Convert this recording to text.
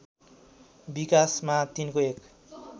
विकासमा तिनको एक